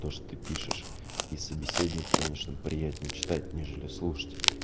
то что ты пишешь и собеседнику конечно приятней читать нежели слушать